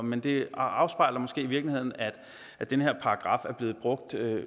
men det afspejler måske i virkeligheden at den her paragraf er blevet brugt